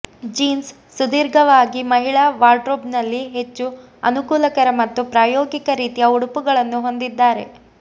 jeans ಸುದೀರ್ಘವಾಗಿ ಮಹಿಳಾ ವಾರ್ಡ್ರೋಬ್ನಲ್ಲಿ ಹೆಚ್ಚು ಅನುಕೂಲಕರ ಮತ್ತು ಪ್ರಾಯೋಗಿಕ ರೀತಿಯ ಉಡುಪುಗಳನ್ನು ಹೊಂದಿದ್ದಾರೆ